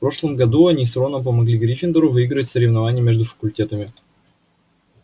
в прошлом году они с роном помогли гриффиндору выиграть соревнование между факультетами